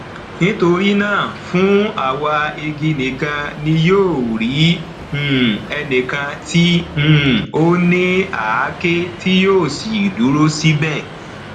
nítorí náà fún àwa igi nìkan ni yóò rí um ẹnìkan tí um ó ní àáké tí yóò sì dúró síbẹ